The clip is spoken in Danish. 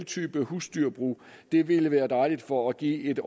type husdyrbrug ville ville være dejligt for at give et